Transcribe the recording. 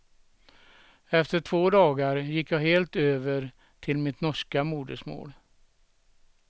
Efter två dagar gick jag helt över till mitt norska modersmål.